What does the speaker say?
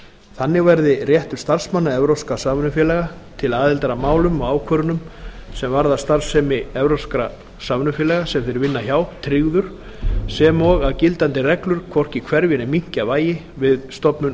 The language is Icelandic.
þannig verði réttur starfsmanna evrópskra samvinnufélaga til aðildar að málum og ákvörðunum sem varða starfsemi evrópskra samvinnufélaga sem þeir vinna hjá tryggður sem og að gildandi reglur hvorki hverfi né minnki að vægi við stofnun